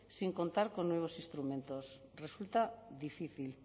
sin contar con nuevos instrumentos resulta difícil